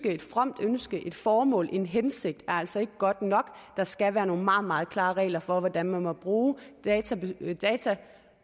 et fromt ønske et formål en hensigt altså ikke er godt nok der skal være nogle meget meget klare regler for hvordan man må bruge data